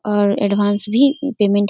और एडवांस भी पेमेंट --